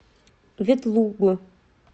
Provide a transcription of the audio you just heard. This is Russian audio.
ветлугу